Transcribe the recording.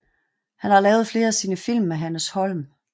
Han har lavet flere af sine film med Hannes Holm